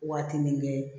Waati nin kɛ